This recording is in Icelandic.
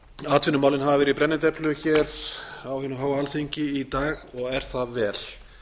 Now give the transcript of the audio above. atvinnumálin hafa verið í brennidepli hér á hinu háa alþingi í dag og er það vel